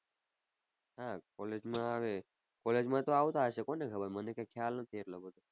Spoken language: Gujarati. હા college માં આવે. college માં તો આવતા હશે કોને ખબર મને કઈ ખ્યાલ નથી એટલો બધો.